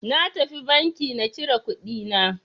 Na tafi banki na cire kuɗi na.